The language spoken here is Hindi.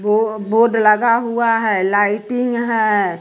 वो बोड लगा हुआ है लाइटिंग है।